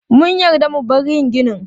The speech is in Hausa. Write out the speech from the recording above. Mun yarda mu bar yin ginin.